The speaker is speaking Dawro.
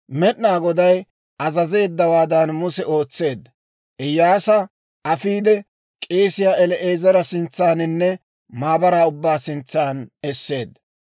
Med'inaa Goday azazeeddawaadan Muse ootseedda; Iyyaasa afiide, k'eesiyaa El"aazara sintsaaninne maabaraa ubbaa sintsan esseedda.